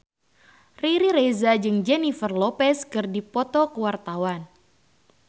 Riri Reza jeung Jennifer Lopez keur dipoto ku wartawan